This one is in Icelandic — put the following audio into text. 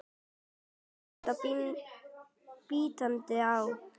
Tekur hægt og bítandi á.